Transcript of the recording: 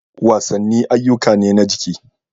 Wasanni ayyuka ne na jiki.